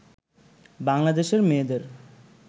বাংলাদেশের মেয়েদের